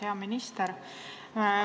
Hea minister!